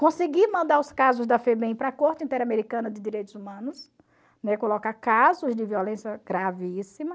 Consegui mandar os casos da FEBEM para a Corte Interamericana de Direitos Humanos, né, colocar casos de violência gravíssima.